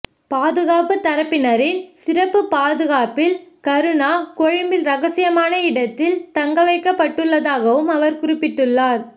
பாதுகாப்பு தரப்பினரின் சிறப்பு பாதுகாப்பில் கருணா கொழும்பில் ரகசியமான இடத்தில் தங்கவைக்கப்பட்டுள்ளதாகவும் அவர் குறிப்பிட்டுள்ளார்